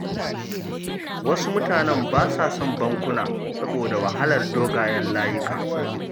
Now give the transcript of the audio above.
Wasu mutanen ba sa son bankuna saboda wahalar dogayen layuka.